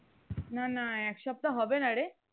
না না এক সপ্তাহ হবে না রে